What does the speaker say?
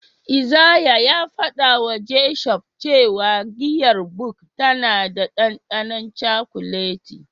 Isaiah ya fadawa Gershom cewa giyar Bok tana da dandanon cakuleti.